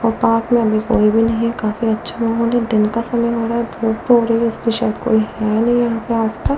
और पार्क में अभी कोई भी नहीं है काफी अच्छा माहौल है दिन का समय हो रहा है धूप हो रही है इसलिए शायद कोई है नहीं यहां आसपास--